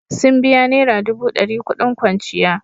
Sun biya naira dubu dari kudin kwanciya.